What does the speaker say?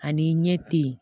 Ani i ɲɛ te yen